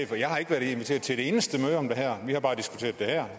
jeg har ikke været inviteret til ét eneste møde om det her vi har bare diskuteret det hér